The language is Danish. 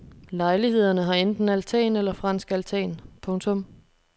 Lejlighederne har enten altan eller fransk altan. punktum